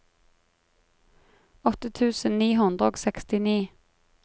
åtte tusen ni hundre og sekstini